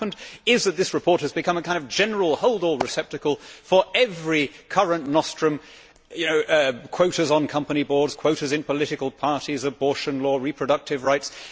But what has happened is that this report has become a kind of general holdall receptacle for every current nostrum quotas on company boards, quotas in political parties, abortion law, reproductive rights.